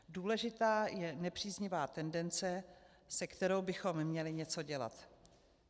Důležitá je nepříznivá tendence, se kterou bychom měli něco dělat.